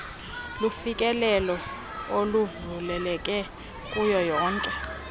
lufikelelo oluvuleleke kuwonke